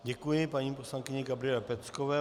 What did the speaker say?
Děkuji paní poslankyni Gabriele Peckové.